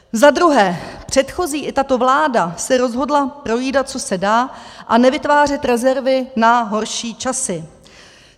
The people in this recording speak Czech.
Za druhé, předchozí i tato vláda se rozhodly projídat, co se dá, a nevytvářet rezervy na horší časy.